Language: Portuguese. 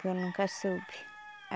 Que eu nunca soube.